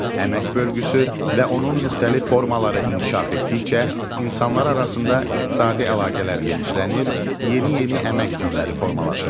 Əmək bölgüsü və onun müxtəlif formaları inkişaf etdikcə insanlar arasında iqtisadi əlaqələr genişlənir, yeni-yeni əmək növləri formalaşırdı.